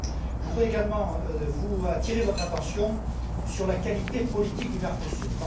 Je voudrais également attirer votre attention sur la qualité politique du Mercosur.